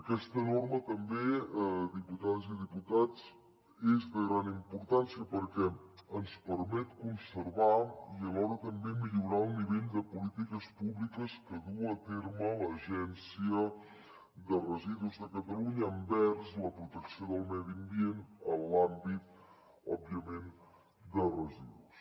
aquesta norma també diputades i diputats és de gran importància perquè ens permet conservar i alhora també millorar l’alt nivell de polítiques públiques que duu a terme l’agència de residus de catalunya envers la protecció del medi ambient en l’àmbit òbviament dels residus